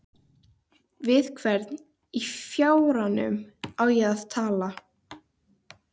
Við hvern í fjáranum á ég að tala?